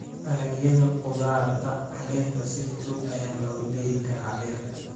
Dalagyada khudaarta caleenta si fudud ayaa loogu beeri karaa beerta.